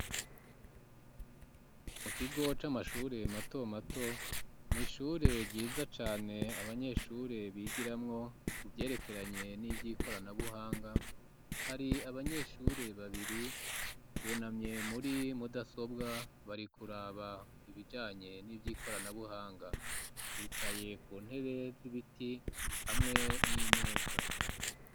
Mu kigo c'amashure mato mato mw'ishure ryiza cane abanyeshure bigiramwo ku ivyerekeranye nivyi koranabuhanga hari abanyeshure babiri bunamye muri mudasobwa bari kuraba ibijanye nivyi koranabuhanga bicaye ku ntebe z'ibiti hamwe n'imeza